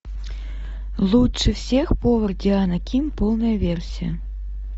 лучше всех повар диана ким полная версия